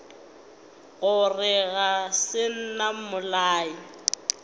gore ga se nna mmolai